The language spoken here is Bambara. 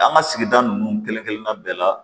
An ka sigida nun kelen kelenna bɛɛ la